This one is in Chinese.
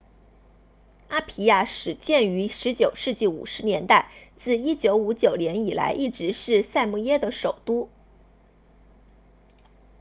阿皮亚始建于19世纪50年代自1959年以来一直是萨摩亚的首都